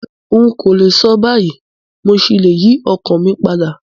N kòlè so báyìí, mo ṣí le yi ọkan mi padà